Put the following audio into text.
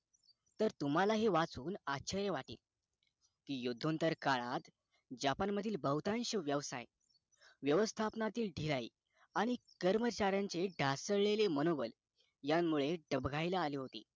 तर तुम्हालाही वाचून आचार्य वाटेल कियुद्धांतर काळात जपान मधील बहुतांश व्यवसाय व्यवस्थापनातील ढीलाही आणि कर्मचाऱ्यांचे दचळलेले मनोगत ह्या मुळे दबागाईला आले होते